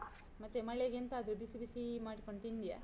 ಮತ್ತೆ ಮಳೆಗೆಂತಾದ್ರು ಬಿಸಿ ಬಿಸೀ ಮಾಡಿಕೊಂಡ್ ತಿಂದ್ಯಾ?